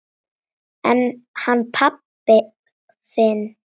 En hann pabbi þinn?